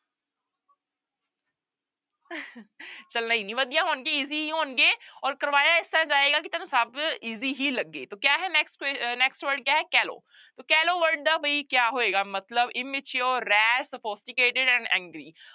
ਵਧੀਆ ਹੋਣਗੇ easy ਹੋਣਗੇ ਔਰ ਕਰਵਾਇਆ ਇਸ ਤਰ੍ਹਾਂ ਜਾਏਗਾ ਕਿ ਤੁਹਾਨੂੰ ਸਭ easy ਹੀ ਲੱਗੇ ਤਾਂ ਕਿਆ ਹੈ next ਅਹ next word ਕਿਆ ਹੈ callow callow word ਦਾ ਵੀ ਕਿਆ ਹੋਏਗਾ ਮਤਲਬ immature, rash, sophisticated and angry